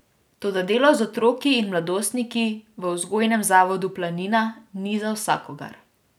Toda delo z otroki in mladostniki v Vzgojnem zavodu Planina ni za vsakogar.